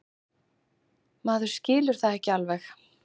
Maður skilur það ekki alveg.